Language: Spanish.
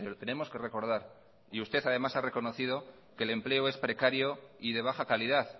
tenemos que recordar y usted además ha reconocido que el empleo es precario y de baja calidad